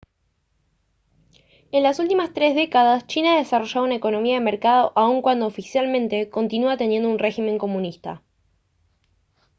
en las últimas tres décadas china ha desarrollado una economía de mercado aun cuando oficialmente continúa teniendo un régimen comunista